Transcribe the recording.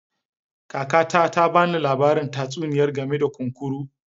Kakata ta ba ni labarin tatsuniya game da kunkuru.